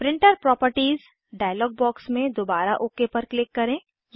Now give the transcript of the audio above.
printer properties dialog box में दोबारा OK पर क्लिक करें